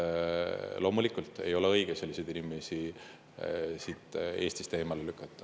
Loomulikult ei ole õige selliseid inimesi Eestist eemale lükata.